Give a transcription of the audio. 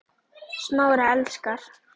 Smári elskar